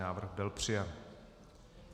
Návrh byl přijat.